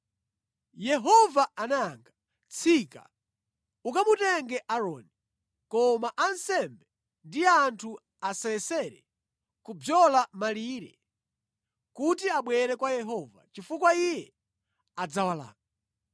Yehova anayankha, “Tsika ukamutenge Aaroni. Koma ansembe ndi anthu asayesere kubzola malire kuti abwere kwa Yehova chifukwa Iye adzawalanga.”